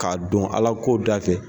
K'a don Ala ko dafɛ